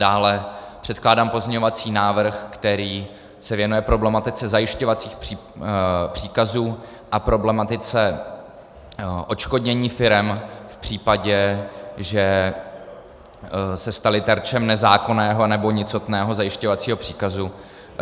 Dále předkládám pozměňovací návrh, který se věnuje problematice zajišťovacích příkazů a problematice odškodnění firem v případě, že se staly terčem nezákonného nebo nicotného zajišťovacího příkazu.